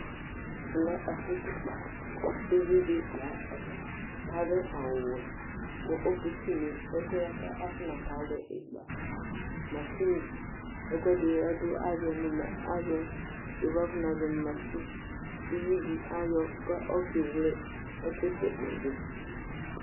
Ɛmɛ lɛ ɛfu kikã Uvidi la aɖu awu wɛ Ku oke tu nu ɛku yɛ buaku afuna ka alu ikpa, masini, ɛkuɛɖi ɔɖu azɔ nu ma, azɔ, yoʋo afuna zɔ nu mashine Uʋiɖi ayɔ, ku ɔke wle ɛku tékpé yɛ ɖu